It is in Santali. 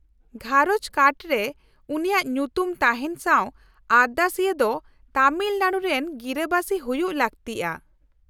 -ᱜᱷᱟᱸᱨᱚᱡᱽ ᱠᱟᱨᱰ ᱨᱮ ᱩᱱᱤᱭᱟᱜ ᱧᱩᱛᱩᱢ ᱛᱟᱦᱮᱱ ᱥᱟᱶ ᱟᱨᱫᱟᱥᱤᱭᱟᱹ ᱫᱚ ᱛᱟᱢᱤᱞᱱᱟᱲᱩ ᱨᱮᱱ ᱜᱤᱨᱟᱹ ᱵᱟᱹᱥᱤ ᱦᱩᱭᱩᱜ ᱞᱟᱹᱠᱛᱤᱜᱼᱟ ᱾